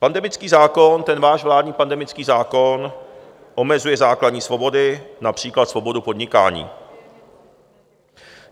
Pandemický zákon, ten váš vládní pandemický zákon, omezuje základní svobody, například svobodu podnikání.